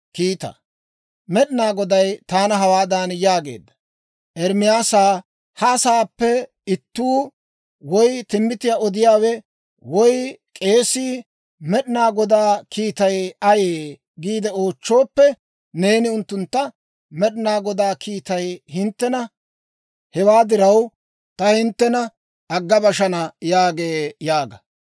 Med'inaa Goday taana hawaadan yaageedda; «Ermaasaa, ha asaappe ittuu, woy timbbitiyaa odiyaawe, woy k'eesii, ‹Med'inaa Godaa kiitay ayee?› giide oochchooppe, neeni unttuntta, ‹Med'inaa Godaa kiitay hinttena; hewaa diraw, ta hinttena agga bashana› yaagee yaaga.